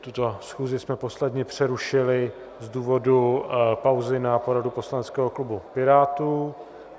Tuto schůzi jsme posledně přerušili z důvodu pauzy na poradu poslaneckého klubu Pirátů.